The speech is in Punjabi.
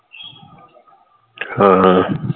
ਹਾਂ